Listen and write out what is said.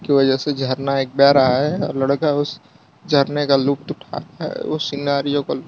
वजह से झरना एक बैह आया है और लड़का उस झरने का लुप्त उठा रहा है उस सिनेरियो --